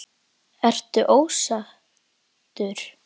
Ertu ósáttur?